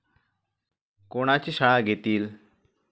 कोणाची शाळा घेतील?